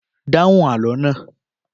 Dáhùn àlọ́ náà!